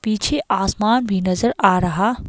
पीछे आसमान भी नजर आ रहा--